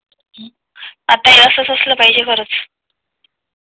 आता हे असाच असाल पहिजे खरंच